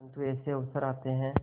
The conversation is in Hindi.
परंतु ऐसे अवसर आते हैं